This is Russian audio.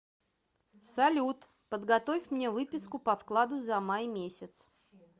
салют подготовь мне выписку по вкладу за май месяц